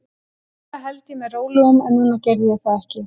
Venjulega held ég mér rólegum, en núna gerði ég það ekki.